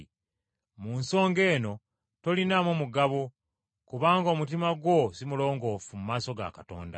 Mu nsonga eno tolinaamu mugabo kubanga omutima gwo si mulongoofu mu maaso ga Katonda.